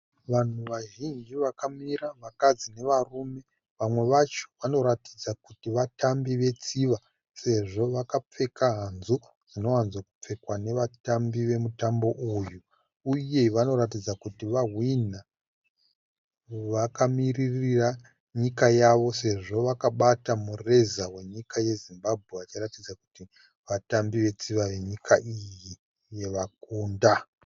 Vanhu vazhinji vakamira varume nevakadzi vamwe vacho vanoratidza kuti vatambi vetsiva sezvo vakapfeka hazu dzinowanzo pfekwa nevatambi vemutambo uyu. Uye vanoratidza kuti vahwinha vakamirira nyika yavo sezvo vakabata mureza we nyika yeZimbabwe vachiratidza kuti vatambi vetsiva yenyika iyi yavakunda.